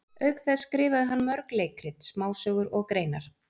Auk þess skrifaði hann mörg leikrit, smásögur og greinar.